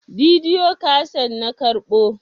bidiyo kaset na karɓo